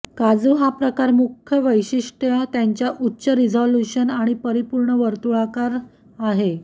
काजू हा प्रकार मुख्य वैशिष्ट्य त्यांच्या उच्च रिझोल्यूशन आणि परिपूर्ण वर्तुळाकार आकार आहे